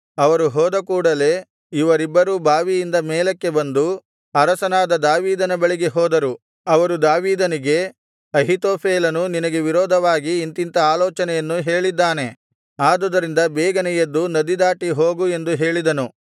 ಅವರು ಹೋದ ಕೂಡಲೆ ಇವರಿಬ್ಬರೂ ಬಾವಿಯಿಂದ ಮೇಲಕ್ಕೆ ಬಂದು ಅರಸನಾದ ದಾವೀದನ ಬಳಿಗೆ ಹೋದರು ಅವರು ದಾವೀದನಿಗೆ ಅಹೀತೋಫೆಲನು ನಿನಗೆ ವಿರೋಧವಾಗಿ ಇಂಥಿಂಥ ಆಲೋಚನೆಯನ್ನು ಹೇಳಿದ್ದಾನೆ ಆದುದರಿಂದ ಬೇಗನೆ ಎದ್ದು ನದಿದಾಟಿ ಹೋಗು ಎಂದು ಹೇಳಿದನು